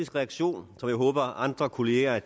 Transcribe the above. reaktion som jeg håber andre kolleger